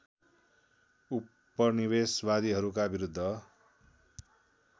उपनिवेशवादीहरूका विरुद्ध